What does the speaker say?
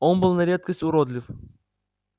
он был на редкость уродлив